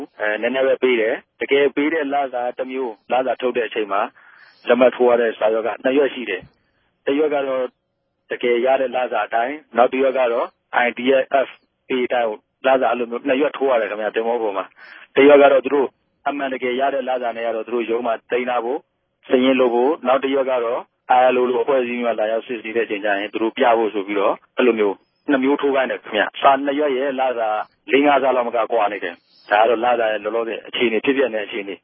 း အဲ နည်းနည်းပဲ ပေးတယ်။ တကယ်ပေးတဲ့ လစာက တမဵိြး၊ လစာထုတ်တဲ့ အခဵိန်မြာ လက်မြတ်ထိုးရတဲ့ စာ႟ြက်က ိံြစ်႟ြက်ရြိတယ်။ တ႟ြက်ကတော့ တကယ်ရတဲ့ လစာအတိုင်း၊ နောက်တ႟ြက်ကတော့ သူတိုႛရဲ့ ITF pay အတိုင်းကို လစာ အဲလိုမဵိြး ိံြစ်႟ြက်ထိုးရတယ်ခင်ဗဵ၊ သဘေဿာပေၞမြာ။ တ႟ြက်ကတော့ သူတိုႛ အမြန်တကယ် ရတဲ့ လစာနဲႛကတော့ သူတိုႛ ႟ုံးမြာ သိမ်းထားဖိုႛ၊ စာရင်းလုပ်ဖိုႛ၊ နောက်တ႟ြက်ကတော့ ILO လို အဖြဲႚအစည်းမဵိြးက လာရောက် စစ်ဆေးတဲ့အခဵိန်ကဵရင် သူတိုႛ ူပဖိုႛ ဆို္ဘပီးတော့ အဲလိုမဵိြး ိံြစ်မဵိြး ထိုးခိုင်းတယ်ခင်ဗဵ။ အဲဒီ စာိံြစ်႟ြက်ရဲ့ လစာ လေးငၝးဆလောက်မက ကြာနေတယ်။ ဒၝကတော့ လစာရဲ့ လောလောဆယ် ူဖစ်ပဵက်နေတဲ့ အေူခအနေ